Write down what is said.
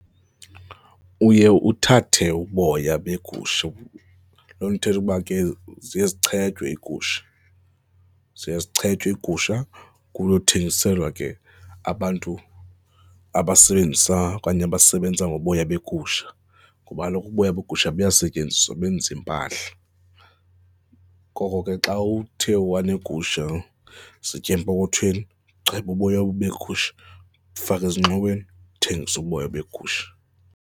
Uye uthathe uboya beegusha, loo nto ithetha uba ke ziye zichetywe iigusha, ziye zichetywe iigusha kuyothengiselwa ke abantu abasebenzisa okanye abasebenza ngoboya beegusha kuba kaloku uboya begusha buyasetyenziswa, benza iimpahla. Ngoko ke xa uthe waneegusha zitya empokothweni, cheba uboya begusha, faka ezingxoweni, uthengise uboya beegusha.